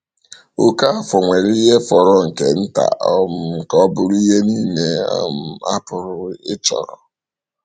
Okafor nwere ihe fọrọ nke nta um ka ọ bụrụ ihe niile um a pụrụ ịchọrọ.